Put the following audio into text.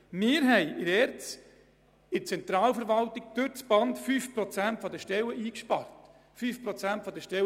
Wir haben in der Zentralverwaltung der ERZ durchs Band 5 Prozent der Stellen gestrichen – 5 Prozent der Stellen!